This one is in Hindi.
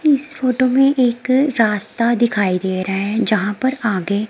इस फोटो में एक रास्ता दिखाई दे रहे हैं जहां पर आगे--